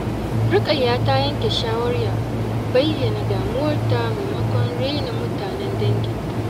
Rukayya ta yanke shawarar bayyana damuwarta maimakon raina mutanen danginta.